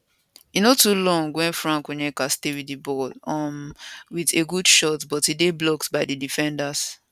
e no too long wen frank onyeka stay wit di ball um wit a good shot but e dey blocked by di defenders